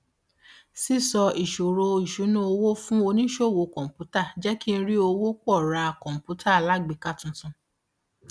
sísọ ìṣòro ìṣúnná owó fún oníṣòwò kọǹpútà jẹ kí n rí owó pọ ra kọǹpútà alágbèéká tuntun